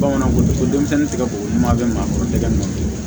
Bamananw ko ko denmisɛnnin tɛ se ko ɲuman bɛ maa kɔrɔkɛ ma